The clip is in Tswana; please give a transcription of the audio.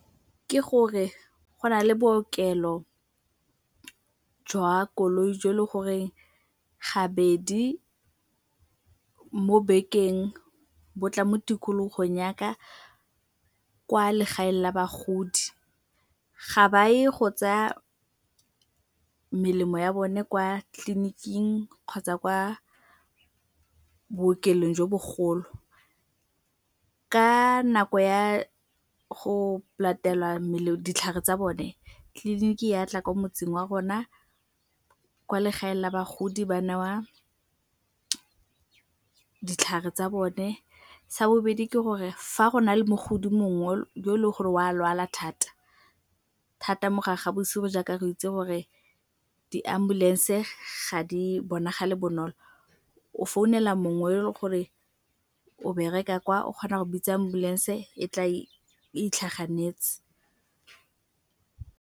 Ke gore go na le bookelo jwa koloi jo e leng gore gabedi mo bekeng bo tla mo tikologong ya ka kwa legaeng la bagodi. Ga ba ye go tsaya melemo ya bone kwa tleliniking kgotsa kwa bookelong jo bogolo. Ka nako ya go latelwa ditlhare tsa bone tleliniki ya tla ko motseng wa rona kwa legae la bagodi ba newa ditlhare tsa bone. Sa bobedi ke gore fa go na le mogodi mongwe yo e leng gore wa lwala thata mo gare ga bosigo jaaka re itse gore di-ambulance ga di bonagale bonolo, o founela mongwe yo e le gore o bereka kwa o kgona go bitsang ambulance e tla e itlhaganetse.